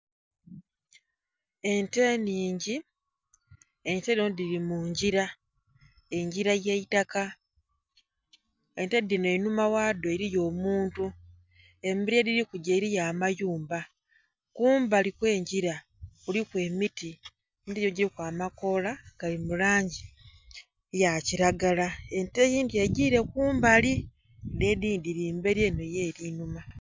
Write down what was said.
Ente nhingi. Ente dhino dhili mu ngira. Engira ya itaka. Ente dhino einhuma ghado eliyo omuntu. Emberi yedhili kugya eliyo amayumba. Kumbali kw'engira kuliku emiti, emiti gino egiluku amakoola gali mu langi ya kiragala. Ente eyindhi egire kumbali. Dhile edhindhi dhili mbeli enho yo eli nhuma.